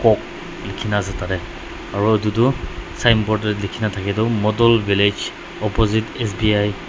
likhi na ase tade aro edu tu signboard de likhi thake tu model village opposite S_B_I .